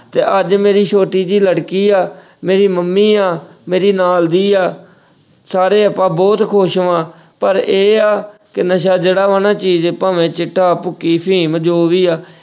ਤੇ ਅੱਜ ਮੇਰੀ ਛੋਟੀ ਜੀ ਲੜਕੀ ਆ, ਮੇਰੀ ਮੰਮੀ ਆ, ਮੇਰੀ ਨਾਲਦੀ ਆ ਸਾਰੇ ਆਪਾਂ ਬਹੁਤ ਖੁਸ਼ ਵਾ, ਪਰ ਇਹ ਆ ਕਿ ਨਸ਼ਾ ਜਿਹੜਾ ਵਾ ਨਾ ਚੀਜ਼ ਭਾਵੇਂ ਚਿੱਟਾ, ਭੁੱਕੀ, ਅਫ਼ੀਮ ਜੋ ਵੀ ਆ।